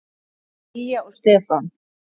Lilja og Stefán.